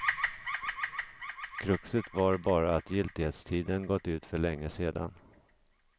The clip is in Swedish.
Kruxet var bara att giltlighetstiden gått ut för länge sedan.